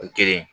O kelen